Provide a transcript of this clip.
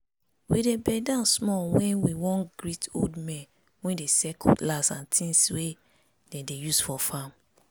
we dey bend down small when we wan greet old men wey dey sell cutlass and tins wey dem dey use for farm